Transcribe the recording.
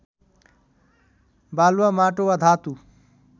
बालुवा माटो वा धातु